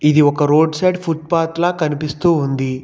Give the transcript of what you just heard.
ఇది ఒక road side footpath లా కనిపిస్తూ ఉంది.